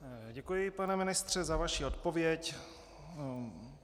Děkuji, pane ministře, za vaši odpověď.